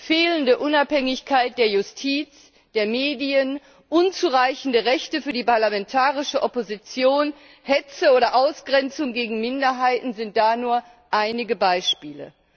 Fehlende Unabhängigkeit der Justiz, der Medien, unzureichende Rechte für die parlamentarische Opposition, Hetze gegen oder Ausgrenzung von Minderheiten sind da nur einige Beispiele.